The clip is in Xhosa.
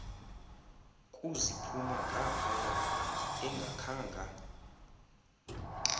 kuziphuma ngaphaya engakhanga